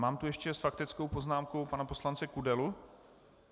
Mám tu ještě s faktickou poznámkou pana poslance Kudelu.